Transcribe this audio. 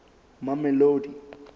mamelodi